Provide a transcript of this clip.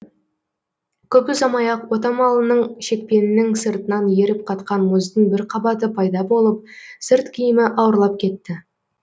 көп ұзамай ақ отамалының шекпенінің сыртынан еріп қатқан мұздың бір қабаты пайда болып сырт киімі ауырлап кетті